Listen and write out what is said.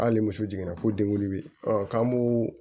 Hali ni muso jiginna ko denwolo bi ɔ k'an b'o